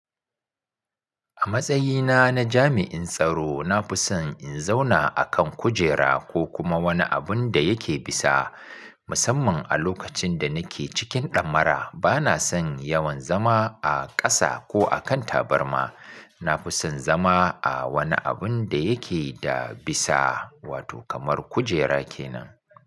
A matsayina na jami'in tsaro, na fi son in zauna akan kujera ko kuma wani abun da yake bisa. Musamman a lokacin da nike cikin ɗammara, bana son yawan zama a ƙasa ko akan tabarma. Na fi son zama a wani abun da yake da bisa, wato kamar kujera kenan.